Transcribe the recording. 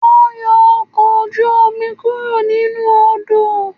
Wọ́n ń yọ ọkọ̀ ojú-omi kúrò nínú Odò